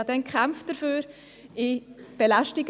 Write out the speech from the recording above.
Ich habe damals dagegen gekämpft.